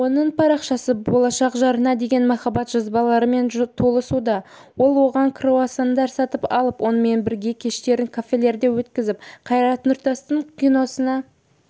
оның парақшасы болашақ жарына деген махаббат жазбаларымен толығуда ол оған круассандар сатып алып онымен бірге кештерін кафелерде өткізіп қайрат нұртастың киносына